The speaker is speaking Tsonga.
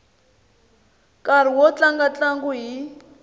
nkarhi wo tlanga ntlangu hi